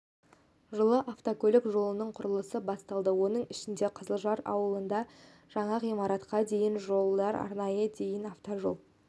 жылы автокөлік жолының құрылысы басталды оның ішінде қызылжар ауылында жаңа ғимаратқа дейін жолдар арнайы дейін автожол